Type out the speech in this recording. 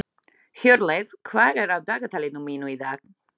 Hjörleif, hvað er á dagatalinu mínu í dag?